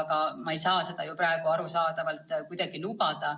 Aga ma ei saa seda arusaadavalt praegu kuidagi lubada.